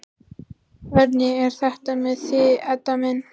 Hvernig er þetta með þig, Edda mín?